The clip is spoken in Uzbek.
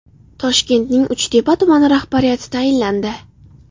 Toshkentning Uchtepa tumani rahbariyati tayinlandi.